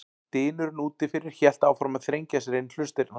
Dynurinn úti fyrir hélt áfram að þrengja sér inn í hlustirnar.